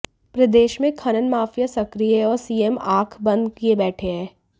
प्रदेश में खनन माफिया सक्रिय है और सीएम आंख बंद किए बैठे हैं